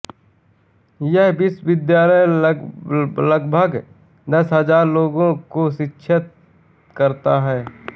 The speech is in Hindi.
यह विश्वविद्यालय लगभग दस हजार लोगों को शिक्षित करता है